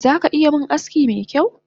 Zaka iya min aski mekyau?